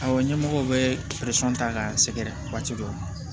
Awɔ ɲɛmɔgɔw bɛ ta ka sɛgɛrɛ waati dɔ la